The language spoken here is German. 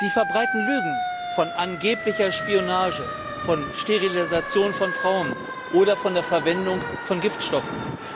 Sie verbreiten Lügen von angeblicher Spionage, von Sterilisation von Frauen oder von der Verwendung von Giftstoffen.